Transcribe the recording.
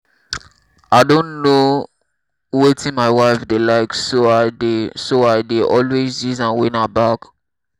i don know wetin my wife dey like so i dey so i dey always use am win her back